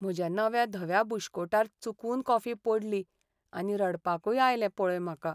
म्हज्या नव्या धव्या बुश्कोटार चुकून कॉफी पडली आनी रडपाकय आयलें पळय म्हाका.